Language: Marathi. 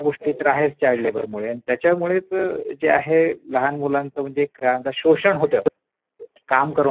ह्या गोष्टी तर आहेच चाईल्ड लेबर मुले त्याच्यामुळेच जे आहे लहान मुलांच शोषण होत काम करून घेतात